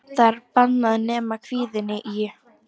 Það er bannað nema kvikni í.